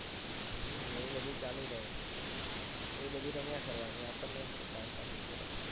એ બધું ચાલુ રહે એ બધું રમ્યા કરવાની